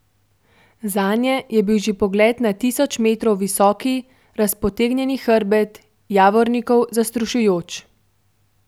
Zanje je bil že pogled na tisoč metrov visoki, razpotegnjeni hrbet Javornikov zastrašujoč.